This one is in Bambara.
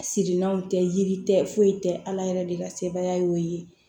Siranw tɛ yiri tɛ foyi tɛ ala yɛrɛ de ka sebaya ye